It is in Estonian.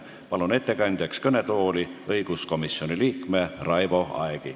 Palun ettekandjaks kõnetooli õiguskomisjoni liikme Raivo Aegi.